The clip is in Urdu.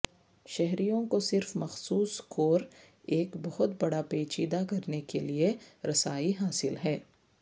شہریوں کو صرف مخصوص کور ایک بہت بڑا پیچیدہ کرنے کے لئے رسائی حاصل ہے